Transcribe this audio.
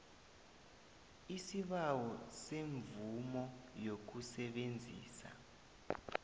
isibawo semvumo yokusebenzisa